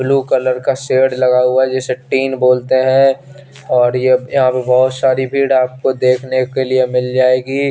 Blue colour का shed लगा हुआ हें जिसे तिन बोलते हें और ये या पे भी बहोत सारी भीड़ आपको देखने के लिए मिल जाएगी।